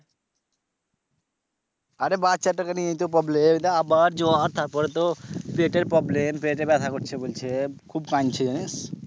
আরে বাচ্চাটাকে নিয়ে তো problem এই দেখ আবার জ্বর তারপরে তো পেটের problem পেটে ব্যথা করছে বলছে খুব কানছে